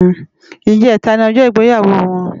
Ijètá ni òjò igbéyáwó wòn